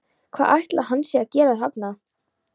Hvað ætli hann sé að gera þarna?